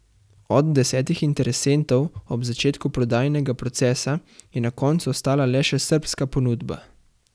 Od desetih interesentov ob začetku prodajnega procesa, je na koncu ostala le še srbska ponudba.